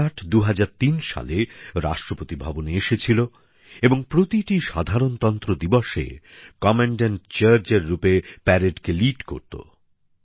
বিরাট ২০০৩ সালে রাষ্ট্রপতি ভবনে এসেছিল এবং প্রতিটি সাধারণতন্ত্র দিবসে কমান্ড্যান্ট চার্জার হিসেবে কুচকাওয়াজকে নেতৃত্ব দিত